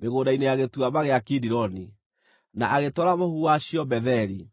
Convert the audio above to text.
mĩgũnda-inĩ ya Gĩtuamba gĩa Kidironi, na agĩtwara mũhu wacio Betheli.